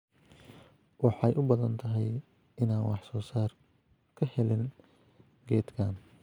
Waxay u badan tahay inaan wax-soo-saar ka helin geedkan.